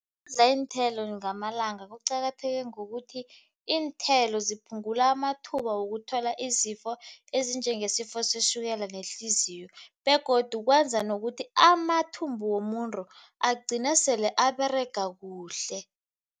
iinthelo ngamalanga kuqakatheke ngokuthi iinthelo ziphungula amathuba wokuthola izifo ezinjengesifo setjhukela nehliziyo begodu kwenza nokuthi amathumbu womuntu agcine sele aberega kuhle.